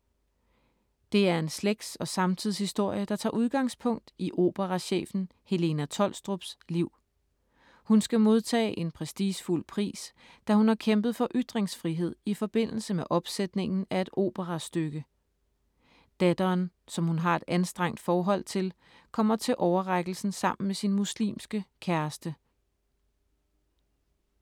Det er en slægts- og samtidshistorie, der tager udgangspunkt i operachefen Helena Tholstrups liv. Hun skal modtage en prestigefuld pris, da hun har kæmpet for ytringsfrihed i forbindelse med opsætningen af et operastykke. Datteren, som hun har et anstrengt forhold til, kommer til overrækkelsen sammen med sin muslimske kæreste.